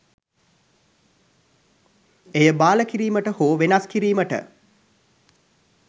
එය බාල කිරීමට හෝ වෙනස් කිරීමට